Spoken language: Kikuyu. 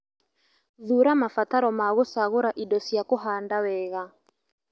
Thuuramabataro ma gũcagũra indo cia kũhanda wega